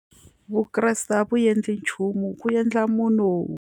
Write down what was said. Vukreste a vu endli nchumu ku endla munhu.